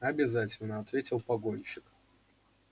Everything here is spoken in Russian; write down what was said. обязательно ответил погонщик